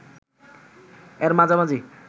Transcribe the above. এর মাঝামাঝি